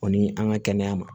O ni an ka kɛnɛya ma